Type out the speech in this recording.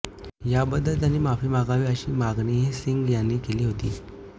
याबद्दल त्यांनी माफी मागावी अशी मागणीही सिंग यांनी केली होती